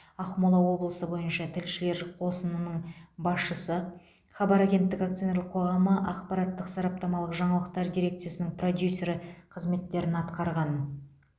ақмола облысы бойынша тілшілер қосынының басшысы хабар агенттігі акционерлік қоғамы ақпараттық сараптамалық жаңалықтар дирекциясының продюсері қызметтерін атқарған